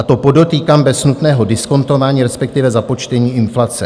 A to podotýkám bez nutného diskontování, respektive započtení inflace.